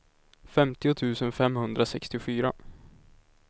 femtio tusen femhundrasextiofyra